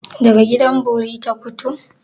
Daga gidan bori ta fito?